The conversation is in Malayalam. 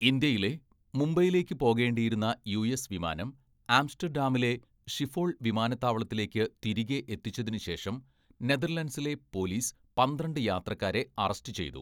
ഇന്ത്യയിലെ, മുംബൈയിലേക്ക് പോകേണ്ടിയിരുന്ന യുഎസ് വിമാനം ആംസ്റ്റർഡാമിലെ ഷിഫോൾ വിമാനത്താവളത്തിലേക്ക് തിരികെ എത്തിച്ചതിന് ശേഷം, നെതർലൻഡ്സിലെ പോലീസ് പന്ത്രണ്ട് യാത്രക്കാരെ അറസ്റ്റ് ചെയ്തു.